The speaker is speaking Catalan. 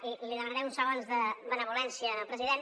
i li demanaré uns segons de benevolència al president